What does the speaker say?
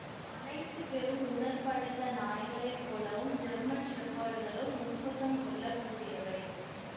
அனைத்து பெரும் உடல் படைத்த நாய்களை போலவும் ஜெர்மன் ஷெஃபர்டுகளும் உப்புசம் கொள்ள கூடியவை